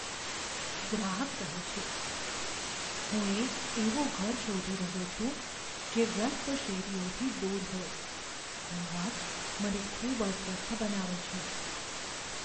ગ્રાહક કહે છે, "હું એક એવું ઘર શોધી રહ્યો છું જે વ્યસ્ત શેરીઓથી દૂર હોય ઘોંઘાટ મને ખૂબ અસ્વસ્થ બનાવે છે."